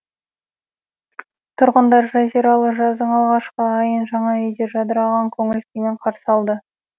тұрғындар жазиралы жаздың алғашқы айын жаңа үйде жадыраған көңіл күймен қарсы алды